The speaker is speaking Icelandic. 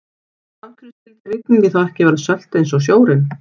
En af hverju skyldi rigningin þá ekki vera sölt eins og sjórinn?